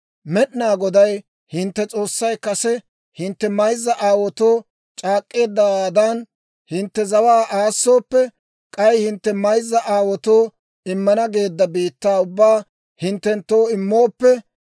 «Med'inaa Goday hintte S'oossay kase hintte mayzza aawaatoo c'aak'k'eeddawaadan hintte zawaa aassooppe, k'ay hintte mayzza aawaatoo immana geedda biittaa ubbaa hinttenttoo immooppe,